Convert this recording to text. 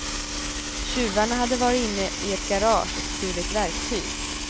Tjuvarna hade varit inne i ett garage och stulit verktyg.